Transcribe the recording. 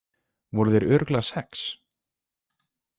Voru þeir örugglega sex?